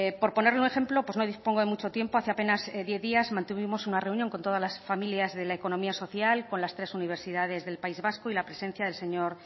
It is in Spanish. por ponerle un ejemplo pues no dispongo de mucho tiempo hace apenas diez días mantuvimos una reunión con todas las familias de la economía social con las tres universidades del país vasco y la presencia del señor